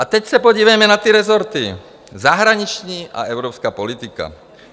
A teď se podívejme na ty rezorty - zahraniční a evropská politika.